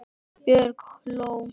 Björg hló.